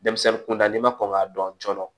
Denmisɛnnin kunda n'i ma kɔn k'a dɔn joona